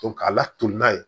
k'a laturu n'a ye